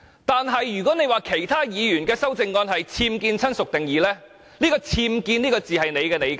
可是，如果她認為其他議員的修正案是僭建"親屬"定義，那"僭建"這個字只是她的理解。